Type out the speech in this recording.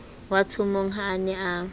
watshomong ha a ne a